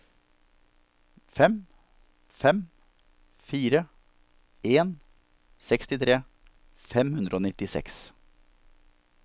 fem fem fire en sekstitre fem hundre og nittiseks